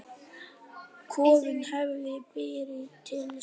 Kofinn hefði brunnið til ösku!